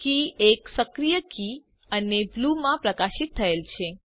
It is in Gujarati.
કે 1 સક્રિય કી અને બ્લૂ માં પ્રકાશિત થયેલ છે